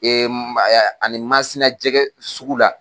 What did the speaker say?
ani MASINA jɛkɛsugu la.